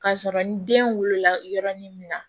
K'a sɔrɔ ni den wolola yɔrɔnin min na